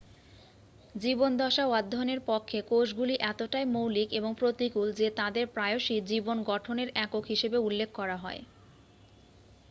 "জীবনদশা অধ্যয়নের পক্ষে কোষগুলি এতটাই মৌলিক এবং প্রতিকূল যে তাদের প্রায়শই "জীবন গঠনের একক" হিসাবে উল্লেখ করা হয়।